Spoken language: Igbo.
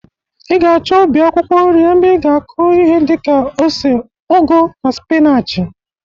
Ị ga-achọ ubi akwụkwọ nri ebe ị ga-akụ ihi dị ka ose, ụgụ na spịnachị.